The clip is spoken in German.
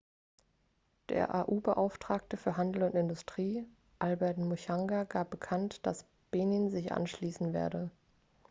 der au-beauftragte für handel und industrie albert muchanga gab bekannt dass benin sich anschließen werde